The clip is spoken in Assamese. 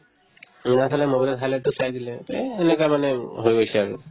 এনেকে চালে mobile ত চালেতো চাই দিলে তেহ্ সেনেকা মানে হৈ গৈছে আৰু